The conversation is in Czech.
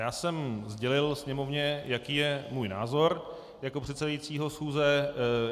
Já jsem sdělil Sněmovně, jaký je můj názor jako předsedajícího schůze.